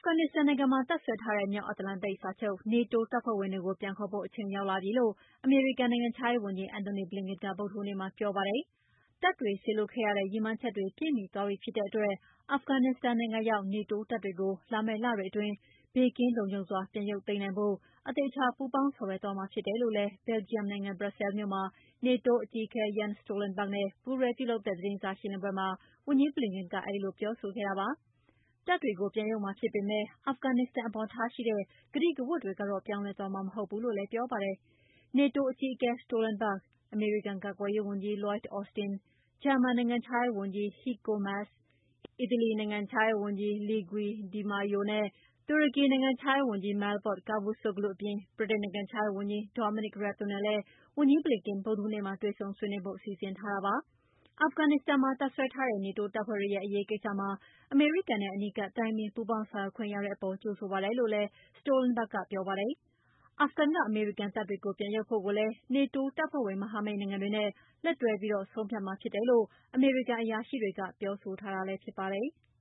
ဖဂန်နစ္စတန်နိုင်ငံမှာ တပ်စွဲထားတဲ့ မြောက်အန္တလန်တိန်စာချုပ် NATO တပ်ဖွဲ့ဝင်တွေကို ပြန်ခေါ်ဖို့ အချိန်ရောက်လာပြီလို့ အမေရိကန်နိုင်ငံခြားရေးဝန်ကြီး Antony Blinken က ဗုဒ္ဓဟူးနေ့မှာပြောပါတယ်။ တပ်တွေစေလွှတ်ခဲ့ရတဲ့ ရည်မှန်းချက်တွေ ပြည့်မှီသွားပြီဖြစ်တဲ့အတွက် အာဖဂန်နစ္စတန်နိုင်ငံရောက်နေတိုး တပ်တွေကို လာမယ့်လတွေအတွင်း ဘေးကင်းလုံခြုံစွာပြန်ရုပ်သိမ်းနိုင်ဖို့ အသေအချာပူးပေါင်းဆောင်ရွက်သွားမှာဖြစ်တယ်လို့လည်း ဘယ်လ်ဂျီယံနိုင်ငံဘရပ်ဆဲလ်မြို့မှာ နေတိုးအကြီးအကဲ Jens Stoltenberg နဲ့ပူးတွဲလုပ်တဲ့သတင်းစာရှင်းလင်းပွဲမှာ ဝန်ကြီး Blinken ကအဲဒီလို ပြောဆိုခဲ့တာပါ။ တပ်တွေကို ပြန်ရုပ်မှာဖြစ်ပေမယ့် အာဖဂန်နစ္စတန်အပေါ်ထားရှိတဲ့ ကတိကဝတ်တွေတော့ ပြောင်းလဲသွားမှာမဟုတ်ဘူးလို့လည်း ပြောပါတယ်။ နေတိုးအကြီးအကဲ Stolenberg အမေရိကန်ကာကွယ်ရေးဝန်ကြီး Lloyd Austin၊ ဂျာမန်နိုင်ငံခြားရေးဝန်ကြီး Heiko Maas ၊ အီတလီနိုင်ငံခြားရေးဝန်ကြီး Luigi DiMaio နဲ့ တူရကီနိုင်ငံခြားရေးဝန်ကြီး Mevlut Cavusoglu အပြင် ဗြိတိန်နိုင်ငံခြားရေးဝန်ကြီး Domonic Raab တို့နဲ့လည်း ဝန်ကြီး Blinken ဗုဒ္ဓဟူးနေ့မှာ တွေ့ဆုံဆွေးနွေးဖို့လည်း စီစဉ်ထားပါတယ်။ အာဖဂန်နစ္စတန်မှာတပ်စွဲထားတဲ့နေတိုးတပ်ဖွဲ့တွေရဲ့ အရေးကိစ္စမှာ အမေရိကန်နဲ့ အနီးကပ်တိုင်ပင် ပူးပေါင်းဆောင်ရွက်ခွင့်ရတဲ့အပေါ် ကြိုဆိုပါတယ်လို့ Stolenberg ကပြောပါတယ်။ အာဖဂန်က အမေရိကန်တပ်တွေကို ပြန်ရုပ်ဖို့ကိုလည်း နေတိုးတပ်ဖွဲ့ဝင် မဟာမိတ်နိုင်ငံ တွေနဲ့ လက်တွဲပြီး ဆုံးဖြတ်မှာဖြစ်တယ်လို့ အမေရိကန်အရာရှိတွေကပြောဆိုထားတာဖြစ်ပါတယ်။